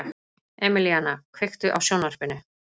Emelíana, kveiktu á sjónvarpinu.